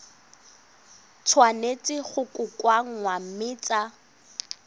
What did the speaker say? tshwanetse go kokoanngwa mme tsa